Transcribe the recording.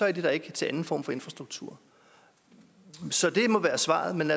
er de der ikke til anden form for infrastruktur så det må være svaret men